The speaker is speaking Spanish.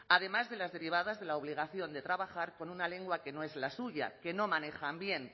además de las derivadas de la obligación de trabajar con una lengua que no es la suya que no manejan bien